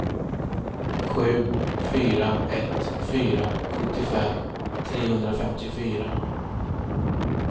sju fyra ett fyra sjuttiofem trehundrafemtiofyra